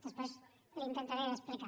després li ho intentaré explicar